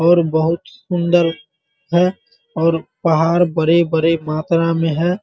और बहुत सुंदर है और पहाड़ बड़े-बड़े मात्रा में है ।